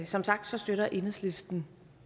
som sagt støtter enhedslisten